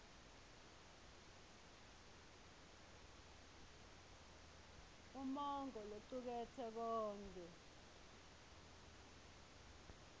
umongo locuketse konkhe